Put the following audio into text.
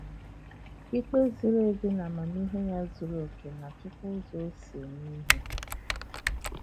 Ikpe ziri ezi na amamihe ya zuru oke na-achịkwa ụzọ o si eme ihe.